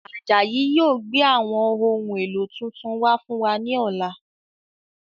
Ajayi yìí ó gbé àwọn ohun èlò tuntun wá fún wa ní ọ̀la.